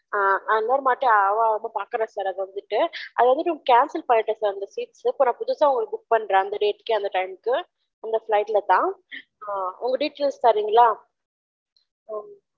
"அ அவ அத பாக்குரா sir அது வந்துடு அது வந்து நீங்க cancel பன்னிடேன் sir அந்த seat புதுசா உங்களுக்கு book பன்றேன் sir அந்த date க்கு அந்த time க்கு தான் flight கே அந்த time கு அந்த flight ல தான் உங்க details தரிங்கலா"